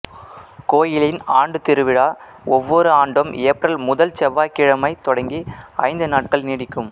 கோயிலின் ஆண்டுத் திருவிழா ஒவ்வொரு ஆண்டும் ஏப்ரல் முதல் செவ்வாய்க்கிழமை தொடங்கி ஐந்து நாட்கள் நீடிக்கும்